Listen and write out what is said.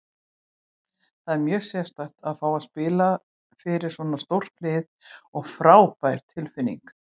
Það var mjög sérstakt að fá að spila fyrir svona stórt lið og frábær tilfinning.